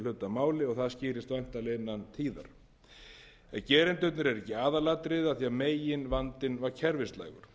máli og það skýrist væntanlega innan tíðar en gerendurnir voru ekki aðalatriðið af því að meginvandinn var kerfislægur